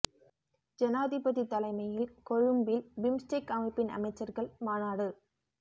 ஜனாதிபதி தலைமையில் கொழும்பில் பிம்ஸ்டெக் அமைப்பின் அமைச்சர்கள் மாநாடு